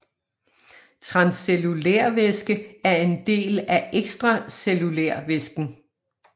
Transcellulærvæske er en del af ekstracellulærvæsken